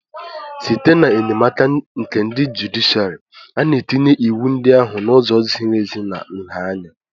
Site n'enyemaka nke ndị jụdịshịàrị, a na-etinye iwu ndị ahụ n'ụzọ ziri ezi na nha anya